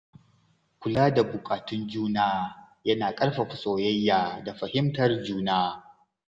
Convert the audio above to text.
Kula da buƙatun juna yana ƙarfafa soyayya da fahimtar juna.